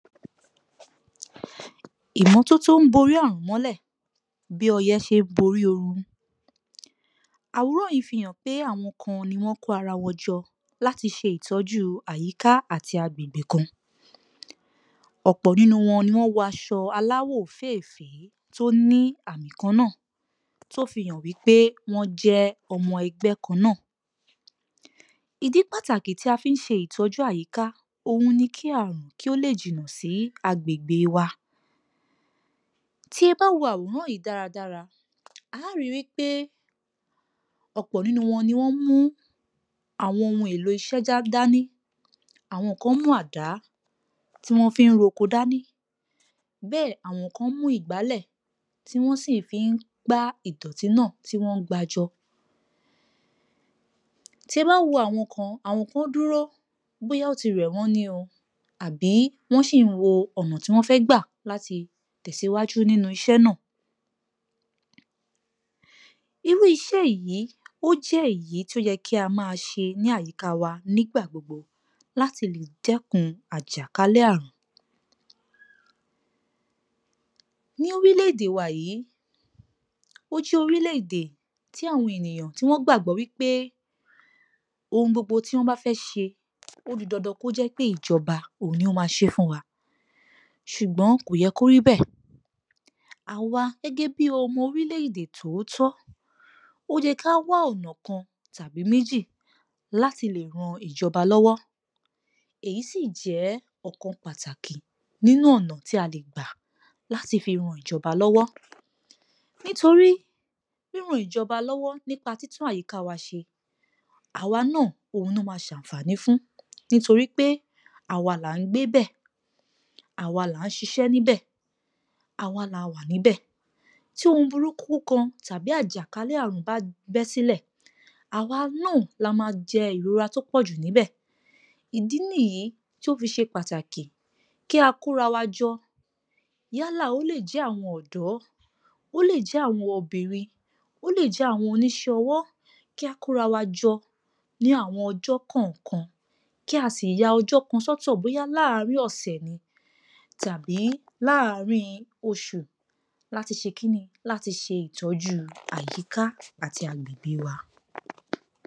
Ìmọ́tótó ń borí àrùn mọ́lẹ̀ bí ọyẹ́ ṣe ń borí ooru, àwòràn yìí fi hàn pé àwọn kan ni wọ́n kó ara wọ́n jọ láti ṣe ìtọ́jú àyíká àti agbègbè kan. Ọ̀pọ̀ nínú wọn ni wọ́n wọ aṣọ aláwọ̀ òféefèé tó ní àmì kan náà, tó fi hàn pé wọ́n jẹ́ ọmọ ẹgbẹ́ kan náà, ìdí pàtàkì tí a fi ń ṣe ìtọ́jú àyíká òhun ní kí àrùn, kí ó lè jìnnà sí agbègbè wa, tí ẹ bá wo àwòrán yìí dáradára, à ó ri wípé ọ̀pọ̀ nínú wọn ni wọ́n mú àwọn ohun èlò iṣẹ́ dání, àwọn kan mú àdá tí wọ́n fi ń roko dání, bẹ́ẹ̀ àwọn kan mú ìgbálẹ̀, tí wọ́n sì fi ń gbá ìdọ̀tí náà, tí wọ́n ń gbá jọ. Tí ẹ bá wo àwọn kan, àwọn kan dúró, bóyá ó ti rẹ̀ wọ́n ni o, àbí wọ́n ṣì ń wo ọ̀nà tí wọ́n fẹ́ gbà láti tẹ̀síwájú nínú iṣẹ́ náà. Irú iṣẹ́ yìí, ó jẹ́ èyí tó yẹ kí a máa ṣe ní àyíká wa nígbà gbogbo láti lè dẹ́kun àjàkálẹ̀ àrùn. Ní orílẹ̀-èdè wa yìí, ó jẹ́ orílẹ̀-èdè tí àwọn ènìyàn tí wọ́n gbàgbọ́ wípé ohun gbogbo tí wọ́n bá fẹ ṣe, ó di dandan kó jẹ́ pé ìjọba, òun ni ó máa ṣe e fún wa. Ṣùgbọ́n kò yẹ kó rí bẹ́ẹ̀, àwa gẹ́gẹ́ bí ọmọ orílẹ̀-èdè tòótọ́, ó yẹ ká wá ọ̀nà kan tàbí mèjí láti lè ran ìjọba lọ́wọ́. Èyí sì jẹ́ ọ̀kan pàtàkì nínú ọ̀nà tì a lè gbà láti fi ran ìjọba lọ́wọ́. Nítorí ríran ìjọba lọ́wọ́ nípa títún àyíká wa ṣe, àwa náà òhun ló máa ṣàǹfàní fún, nítorí pé àwa là ń gbébẹ̀, àwa là ń ṣiṣẹ́ níbẹ̀, àwa la wà níbẹ̀, tí ohun burúkú kan, tàbí àjàkálẹ̀ àrùn bá bẹ́ sílẹ̀, àwa náa la máa jẹ ìrora tó pọ̀jù níbẹ̀, ìdí nìyí tí ó fi ṣe pàtàkì kí a kóra wa jọ, yálà ó lè jẹ́ àwọn ọ̀dọ́, ó lè jẹ́ àwọn obìnrin, ó lè jẹ́ àwọn oníṣẹ́ ọwọ́, kí a kóra wa jọ ní àwọn ọjọ́ kọ̀ọ̀kan, kí a sì ya ọjọ́ kan sótò bóyá láàrin ọ̀sẹ̀ ni, tàbí láàrin oṣù, láti ṣe kíni? láti ṣe ìtọ́jú àyíká àti agbègbè wa